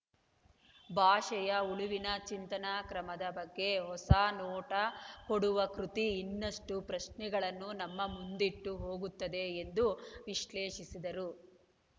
ಭಾಷೆಯ ಉಳಿವಿನ ಚಿಂತನಾ ಕ್ರಮದ ಬಗ್ಗೆ ಹೊಸ ನೋಟ ಕೊಡುವ ಕೃತಿ ಇನ್ನಷ್ಟು ಪ್ರಶ್ನೆಗಳನ್ನು ನಮ್ಮ ಮುಂದಿಟ್ಟು ಹೋಗುತ್ತದೆ ಎಂದು ವಿಶ್ಲೇಷಿಸಿದರು